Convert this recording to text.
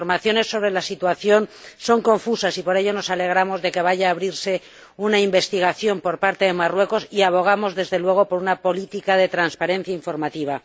Las informaciones sobre la situación son confusas y, por ello, nos alegramos de que vaya a abrirse una investigación por parte de Marruecos y abogamos, desde luego, por una política de transparencia informativa.